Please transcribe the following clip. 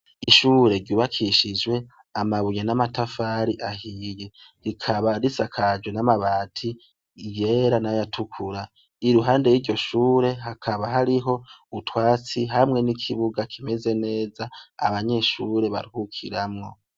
Ishure ryubakishijwe amabuye n'amatafari ahiye. Rikaba risakajwe n'amabati yera n'ayatukura. Iruhande y'iryo shure hakaba hariho utwatsi hamwe n'ikibuga kimeze neza abanyeshure baruhukiramwo.